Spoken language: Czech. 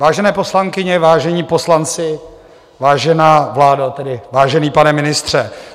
Vážené poslankyně, vážení poslanci, vážená vládo, tedy vážený pane ministře.